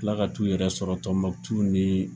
Ka tila ka t'u yɛrɛ sɔrɔ Tɔnbukutu ni